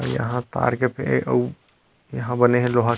यहाँ पार्क पे अऊ यहाँ बने हे लोहा--